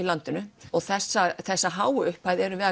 landinu og þessar þessar háu upphæðir erum við